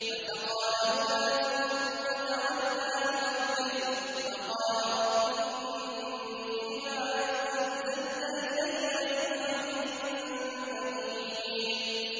فَسَقَىٰ لَهُمَا ثُمَّ تَوَلَّىٰ إِلَى الظِّلِّ فَقَالَ رَبِّ إِنِّي لِمَا أَنزَلْتَ إِلَيَّ مِنْ خَيْرٍ فَقِيرٌ